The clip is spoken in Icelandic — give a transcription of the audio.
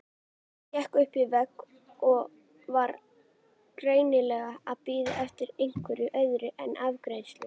Hékk upp við vegg og var greinilega að bíða eftir einhverju öðru en afgreiðslu.